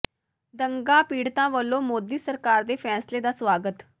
ਦੰਗਾ ਪੀੜਤਾਂ ਵੱਲੋਂ ਮੋਦੀ ਸਰਕਾਰ ਦੇ ਫ਼ੈਸਲੇ ਦਾ ਸਵਾਗਤ